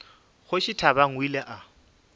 kgoši thabang o ile a